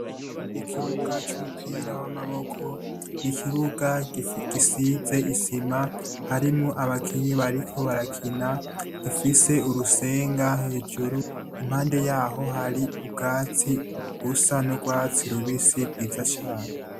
Ikibuga c'umupira w'amaboko ni ikibuga gisize isima, harimwo abakinyi bariko barakina; gifise urusenga hejuru. Impande yaho hari ubwatsi busa n' urwatsi rubisi bwiza cane.